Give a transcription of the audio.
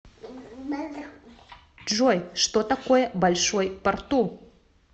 джой что такое большой порту